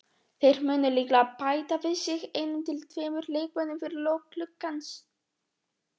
Þeir munu líklega bæta við sig einum til tveimur leikmönnum fyrir lok gluggans.